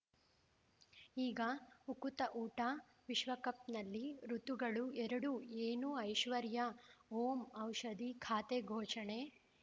ಈಗ ಉಕುತ ಊಟ ವಿಶ್ವಕಪ್‌ನಲ್ಲಿ ಋತುಗಳು ಎರಡು ಏನು ಐಶ್ವರ್ಯಾ ಓಂ ಔಷಧಿ ಖಾತೆ ಘೋಷಣೆ